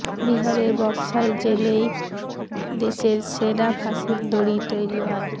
বিহারের বক্সার জেলেই দেশের সেরা ফাঁসির দড়ি তৈরি হয়